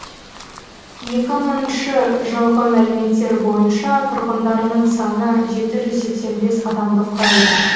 екі мыңыншы жылғы мәліметтер бойынша тұрғындарының саны жеті жүз сексен бес адамды құрайды